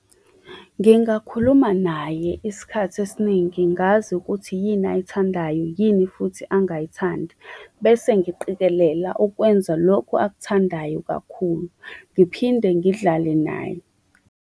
Ngingakhuluma naye isikhathi esiningi ngazi ukuthi yini ayithandayo, yini futhi angayithandi, bese ngiqikelela ukwenza lokhu akuthandayo kakhulu. Ngiphinde ngidlale naye.